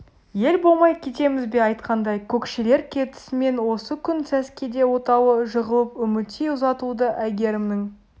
ел болмай кетеміз бе айтқандай көкшелер кетісімен осы күн сәскеде отауы жығылып үмітей ұзатылды әйгерімнің